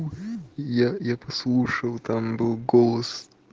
я я послушал там был голос